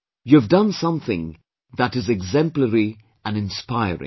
You have done something that is exemplary and inspiring